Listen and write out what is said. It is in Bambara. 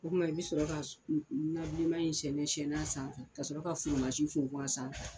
O kuma i bɛ sɔrɔ ka nabilenman in sɛnɛsɛnɛ a sanfɛ ka sɔrɔ ka funfun a sanfɛ.